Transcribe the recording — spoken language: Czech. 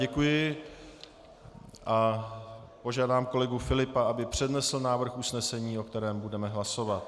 Děkuji a požádám kolegu Filipa, aby přednesl návrh usnesení, o kterém budeme hlasovat.